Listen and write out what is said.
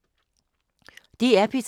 DR P3